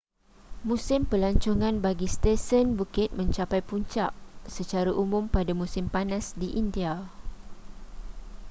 musim pelancongan bagi stesen bukit mencapai puncak secara umum pada musim panas di india